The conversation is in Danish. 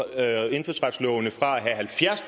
firs